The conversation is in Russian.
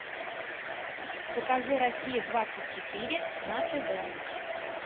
покажи россия двадцать четыре на тв